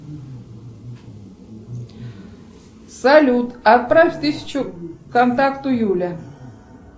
салют отправь тысячу контакту юля